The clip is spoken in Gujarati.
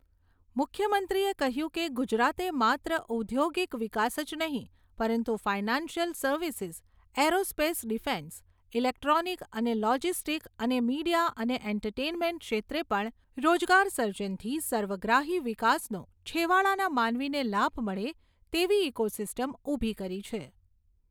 મુખ્યમંત્રીએ કહ્યું કે, ગુજરાતે માત્ર ઉદ્યોગિક વિકાસ જ નહીંં પરંતુ financial services, aerospace defence, electronic અને લોજીસ્ટીક અને મિડીયા અને એન્ટરટેન્મેન્ટ ક્ષેત્રે પણ રોજગાર સર્જનથી સર્વગ્રાહી વિકાસનો છેવાડાના માનવીને લાભ મળે તેવી ઇકો સિસ્ટમ ઉભી કરી છે.